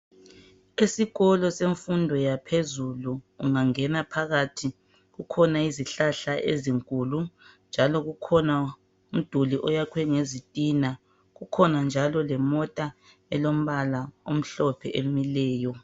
Esikolo semfundo yaphezulu ungangena phakathi, kukhona izihlahla ezinkulu njalo kukhona umduli oyakhiwe ngezitina. Kukhona njalo lemota elombala omhlophe emileyo.